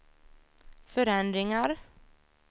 förändringar